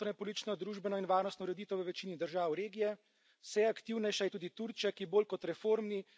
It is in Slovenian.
Rusija odkrito in vse bolj agresivno spreminja notranjepolitično, družbeno in varnostno ureditev v večini držav regije.